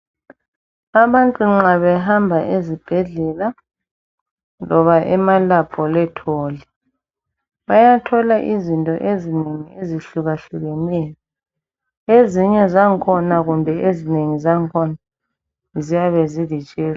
Abantu nxa behamba ezibhedlela loba emalabholetholi bayathola izinto ezinengi ezihlukahlukeneyo ezinye zangkhona kumbe ezinengi zangkhona ziyabezi zilitshela.